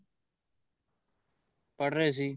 ਪੜ੍ਹ ਰਹੇ ਸੀ